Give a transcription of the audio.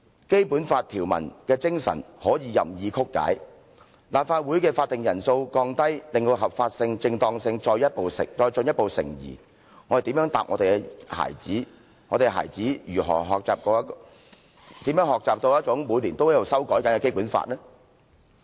《基本法》條文的精神可以任意曲解，把全體委員會會議的法定人數降低，令到其合法性、正當性再進一步成疑，我們如何回答我們的孩子，我們的孩子如何學習每年都在修改的《基本法》呢？